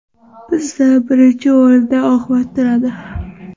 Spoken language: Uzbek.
Bizda birinchi o‘rinda oqibat turadi.